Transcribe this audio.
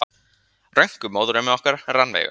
Rönku, móðurömmu okkar, Rannveigu.